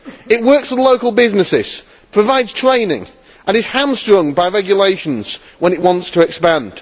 It works with local businesses, provides training and is hamstrung by regulations when it wants to expand.